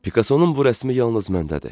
Pikasonun bu rəsmi yalnız məndədir.